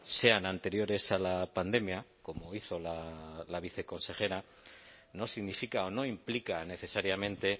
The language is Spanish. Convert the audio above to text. sean anteriores a la pandemia como hizo la viceconsejera no significa o no implica necesariamente